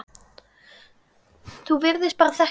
Þú virtist bara þekkja alla.